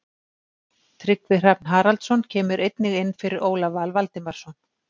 Tryggvi Hrafn Haraldsson kemur einnig inn fyrir Ólaf Val Valdimarsson.